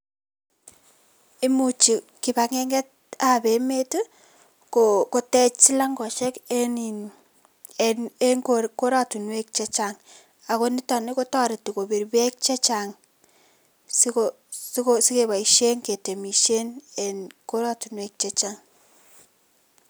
Imuchi kibagengeit ab emet tii ko kotech silankoshek en iin korotinwek chechang ako niton kotoreti kebir peek chechang siko sikeboishen ketemishen en kototunwek chechang.